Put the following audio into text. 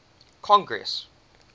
congress